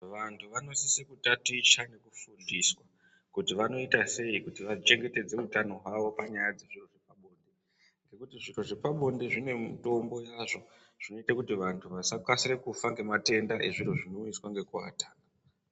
Vantu vanosiswe kutatiche nokufundiswe kuti vanoita sei kuti vachengetedze utano hwavo panyaya dzepabonde nokuti zviro zvepabonde zvine mitombo yazvo zvinoite kuti vantu vasakasire kufa ngezviro zvinounzwa nokuvata.